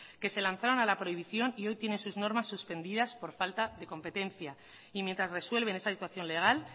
que se lanzaron a la prohibición y hoy tienen sus normas suspendidas por falta de competencia y mientras resuelven esa situación legal